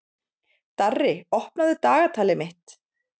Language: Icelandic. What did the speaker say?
Darri, opnaðu dagatalið mitt.